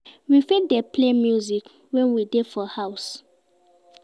We fit dey play music when we dey do house chores